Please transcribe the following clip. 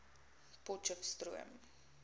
potcheftsroom